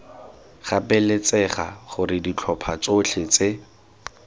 gapeletsega gore ditlhopha tsotlhe tse